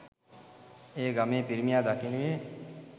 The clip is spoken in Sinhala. එය ගමේ පිරිමියා දකිනුයේ